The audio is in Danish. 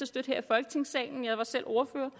støtte her i folketingssalen jeg var selv ordfører